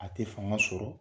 A tɛ fanga sɔrɔ,